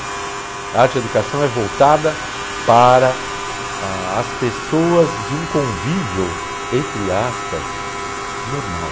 A arte-educação é voltada para a as pessoas de um convívio, entre aspas, normal.